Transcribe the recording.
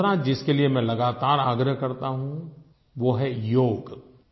और दूसरा जिसके लिए मैं लगातार आग्रह करता हूँ वो है योग